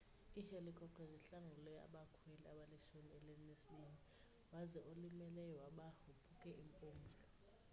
ihelikopter zihlangule abakhweli abalishumi elinesibini waze olimeleyo waba wophuke impumlo